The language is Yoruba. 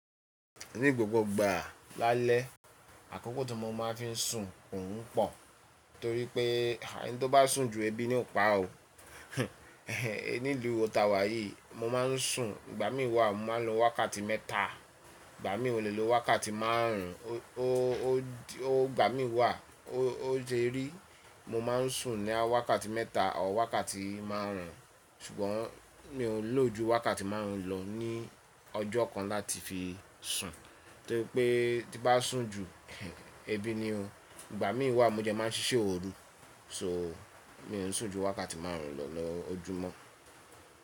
Ní gbogbo ìgbà lálẹ́, àkókò tí mo máa ń fi sùn òún pọ̀ torí pé ẹni tó bá sùn ju ẹbí ní ò pa ó. Níluu tawà yìí mo máa ń sùn, ìgbà mí wà mo máa ń lo wákàtí mẹ́ta, ìgbà mí ò lè lo wákàtí márùn ún, o, o, o, ìgbà mí wà ó je rí mo ma ń sùn ní wákàtí mẹ́ta ọ wákàtí márùn ún, ṣùgbọ́n mi ò ń lò ju wákàtí márùn ún lọ ní ọjọ́ kan láti fi sùn torí pé tí bá sùn ju ẹbí ni o. Ìgbà mí wà mo jẹ máa ń ṣíṣe òoru, so mi ò ń sùn ju wákàtí márùn ún lọ lọjọ́ mọ.